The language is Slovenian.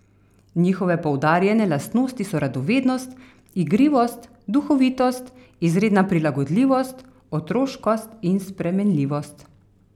Njihove poudarjene lastnosti so radovednost, igrivost, duhovitost, izredna prilagodljivost, otroškost in spremenljivost.